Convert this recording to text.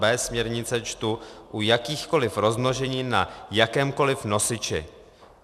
b) směrnice čtu: u jakýchkoliv rozmnoženin na jakémkoliv nosiči.